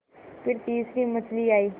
फिर तीसरी मछली आई